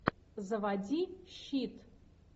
заводи щит